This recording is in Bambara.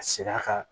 A ser'a ka